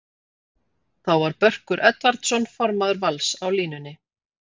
Þá var Börkur Edvardsson formaður Vals á línunni.